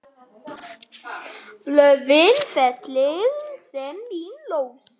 Blöðin fellir senn mín rós.